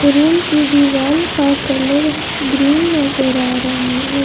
Room की दीवाल का कलर ग्रीन नजर आ रहा है।